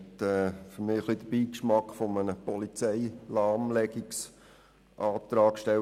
Er hat für mich den Beigeschmack eines «Polizeilahmlegungsantrags».